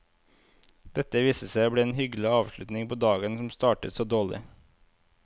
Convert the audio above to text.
Dette viste seg å bli en hyggelig avslutning på dagen som startet så dårlig.